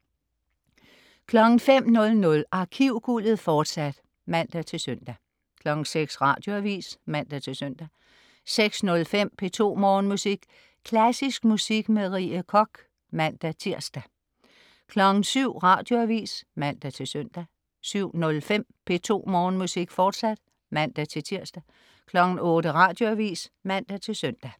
05.00 Arkivguldet, fortsat (man-søn) 06.00 Radioavis (man-søn) 06.05 P2 Morgenmusik. Klassisk musik med Rie Koch (man-tirs) 07.00 Radioavis (man-søn) 07.05 P2 Morgenmusik, fortsat (man-tirs) 08.00 Radioavis (man-søn)